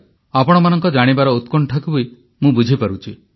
ଆପଣମାନଙ୍କ ଜାଣିବାର ଉତ୍କଣ୍ଠାକୁ ବି ମୁଁ ବୁଝିପାରୁଛି